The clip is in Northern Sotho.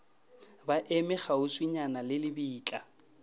ba eme kgauswinyana le lebitla